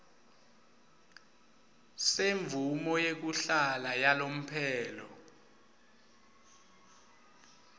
semvumo yekuhlala yalomphelo